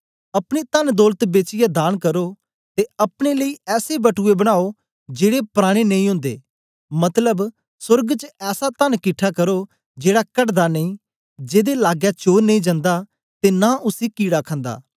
अपनी तनदौलत बेचियै दान करो ते अपने लेई ऐसे बटुए बनाओ जेड़े पराने नेई ओन्दे मतलब सोर्ग च ऐसा तन किट्ठा करो जेड़ा घटदा नेई जेदे लागै चोर नेई जंदा ते नां उसी कीड़ा खंदा